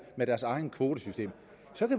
med deres eget kvotesystem